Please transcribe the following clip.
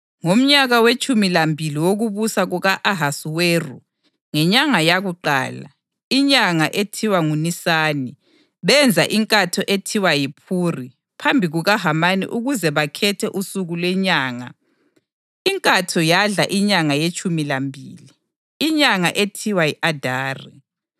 Ngomnyaka wetshumi lambili wokubusa kuka-Ahasuweru, ngenyanga yakuqala, inyanga ethiwa nguNisani, benza inkatho ethiwa yiphuri phambi kukaHamani ukuze bakhethe usuku lenyanga. Inkatho yadla inyanga yetshumi lambili, inyanga ethiwa yi-Adari.